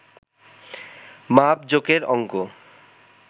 মাপজোকের অংক